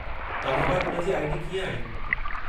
तव्हां वटि हुन जी आई.डी. कीअं आई?